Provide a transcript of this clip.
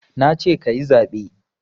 Nace kayi zaɓe